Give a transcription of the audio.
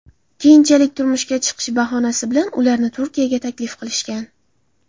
Keyinchalik turmushga chiqish bahonasi bilan ularni Turkiyaga taklif qilishgan.